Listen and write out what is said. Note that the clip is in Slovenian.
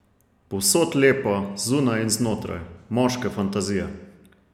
Povsod lepa, zunaj in znotraj, moške fantazije.